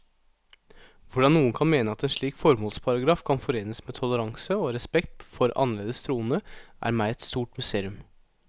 Hvordan noen kan mene at en slik formålsparagraf kan forenes med toleranse og respekt for annerledes troende, er meg et stort mysterium.